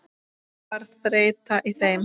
Var þreyta í þeim?